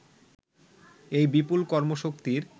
এই বিপুল কর্মশক্তির